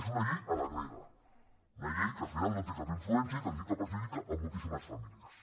és una llei a la grega una llei que al final no té cap influència i que sí que perjudica moltíssimes famílies